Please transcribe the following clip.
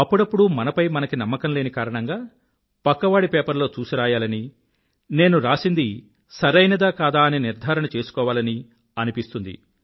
అప్పుడప్పుడు మనపై మనకి నమ్మకం లేని కారణంగా పక్కవాడి పేపర్లో చూసిరాయాలని నేను రాసింది సరైనదా కాదా అని నిర్ధారణ చేసుకోవాలనీ అనిపిస్తుంది